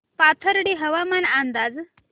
पाथर्डी हवामान अंदाज